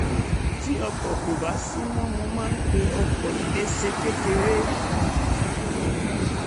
tí ọkọ̀ kò bá sí mo máa ń pe ọkọ̀ iléeṣẹ́ kékèké